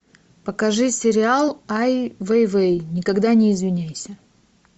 покажи сериал ай вейвей никогда не извиняйся